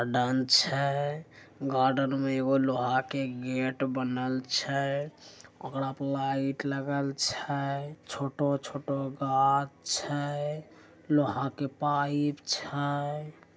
मैदान छै गार्डन में और लोहा के गेट बनल छै ओकरा पे वाईट लगल छै छोटो छोटो गाछ छै लोहा के पाइप छै |